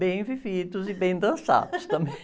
Bem vividos e bem dançados também.